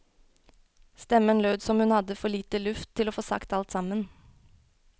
Stemmen lød som hun hadde for lite luft til å få sagt alt sammen.